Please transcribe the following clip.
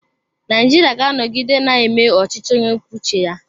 Naijiria ga-anọgide na-eme ọchịchị onye kwuo uche ya.